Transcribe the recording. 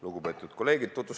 Lugupeetud kolleegid!